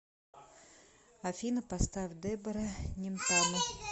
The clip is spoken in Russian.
афина поставь дебора немтану